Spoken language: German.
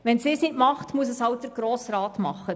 Wenn sie es nicht tut, muss es halt der Grosse Rat tun.